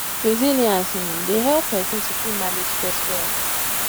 resilience um dey help person to fit manage stress well